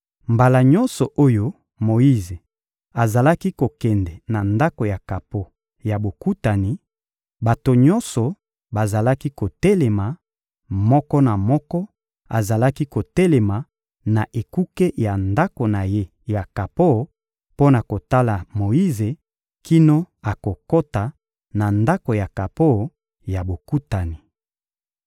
Mbala nyonso oyo Moyize azalaki kokende na Ndako ya kapo ya Bokutani, bato nyonso bazalaki kotelema: moko na moko azalaki kotelema na ekuke ya ndako na ye ya kapo mpo na kotala Moyize kino akokota na Ndako ya kapo ya Bokutani.